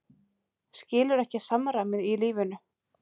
Skilur ekki samræmið í lífinu.